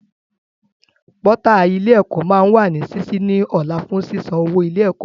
Pọ́tà ilé ẹ̀kọ́ máa wà ní sísí ní ọ̀la fún sísan owó ilé ẹ̀kọ́